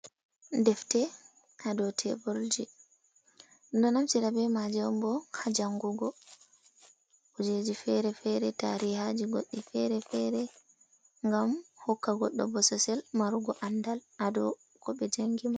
Defte ha dou tebulji. Ɗum ɗo naftira be maje on bo ha jangugo. Kujeji fere-fere, tarihaji goddi fere-fere ngam hokka goɗɗo bososel marugo andal ha dou ko ɓe jangini.